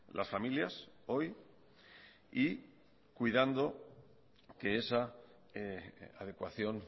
las familias hoy y cuidando que esa adecuación